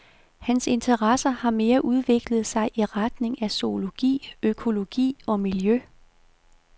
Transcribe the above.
Hans interesser har mere udviklet sig i retning af zoologi, økologi og miljø.